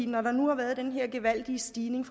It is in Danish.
når der nu har været den her gevaldige stigning